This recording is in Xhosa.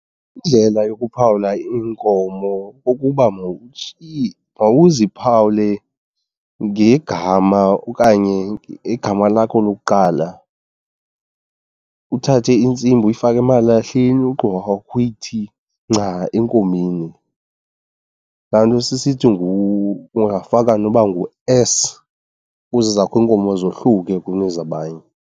Indlela yokuphawula iinkomo kukuba mawuziphawule ngegama okanye igama lakho lokuqala. Uthathe intsimbi uyifake emalahleni ugqiba kwakho uyithi nca enkomeni, laa nto sisithi ungafaka noba ngu-S ukuze ezakho iinkomo zohluke kunezabanye.